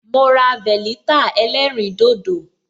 Ma ra veleta ẹlẹ́rìn dodo